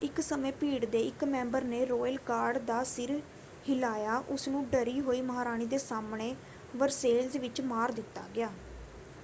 ਇੱਕ ਸਮੇਂ ਭੀੜ ਦੇ ਇੱਕ ਮੈਂਬਰ ਨੇ ਰੌਇਲ ਗਾਰਡ ਦਾ ਸਿਰ ਹਿਲਾਇਆ ਉਸਨੂੰ ਡਰੀ ਹੋਈ ਮਹਾਰਾਣੀ ਦੇ ਸਾਹਮਣੇ ਵਰਸੇਲਜ਼ ਵਿੱਚ ਮਾਰ ਦਿੱਤਾ ਗਿਆ।